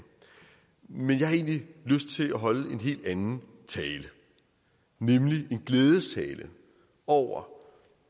men jeg har egentlig lyst til at holde en helt anden tale nemlig en glædestale over